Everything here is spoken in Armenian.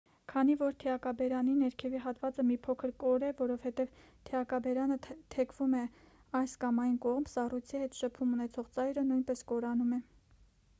քանի որ թիակաբերանի ներքևի հատվածը մի փոքր կոր է որովհետև թիակաբերանը թեքվում է այս կամ այն կողմ սառույցի հետ շփում ունեցող ծայրը նույնպես կորանում է